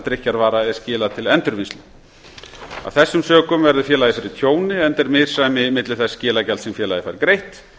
drykkjarvara er skilað til endurvinnslu af þessum sökum verður félagið fyrir tjóni enda er misræmi milli þess skilagjalds sem félagið fær greitt